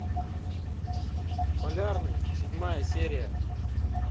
полярный седьмая серия